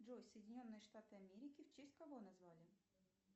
джой соединенные штаты америки в честь кого назвали